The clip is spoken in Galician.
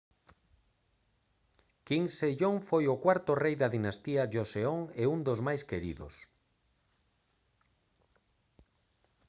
king sejong foi o cuarto rei da dinastía joseon e un dos máis queridos